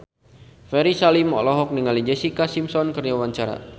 Ferry Salim olohok ningali Jessica Simpson keur diwawancara